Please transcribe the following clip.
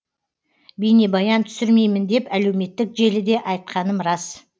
бейнебаян түсірмеймін деп әлеуметтік желіде айтақаным рас